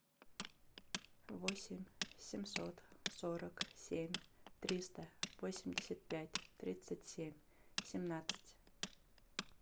восемь семьсот сорок семь триста восемьдесят пять тридцать семь семнадцать